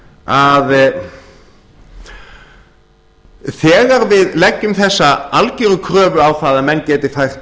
að þegar við leggjum þessa algeru kröfu á það að menn geti fært